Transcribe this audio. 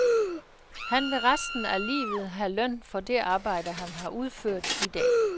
Han vil resten af livet have løn for det arbejde, han har udført i dag.